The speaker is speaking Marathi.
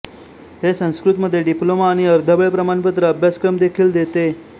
हे संस्कृतमध्ये डिप्लोमा आणि अर्धवेळ प्रमाणपत्र अभ्यासक्रम देखील देते